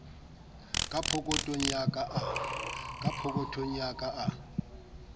ka pokothong ya ka a